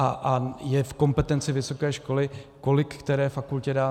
A je v kompetenci vysoké školy, kolik které fakultě dá.